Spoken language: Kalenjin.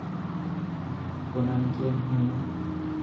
Konon kieng'onye